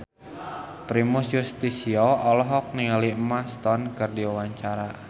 Primus Yustisio olohok ningali Emma Stone keur diwawancara